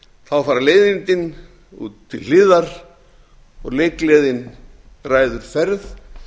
þá fara leiðindin til hliðar og leikgleðin ræður ferð